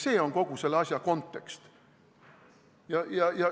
See on kogu selle asja kontekst.